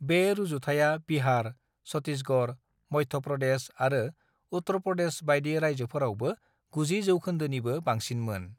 "बे रुजुथाया बिहार, छत्तीसगढ़, मध्य प्रदेश आरो उत्तर प्रदेश बाइदि रायजोफोरावबो 90% निबो बांसिनमोन।"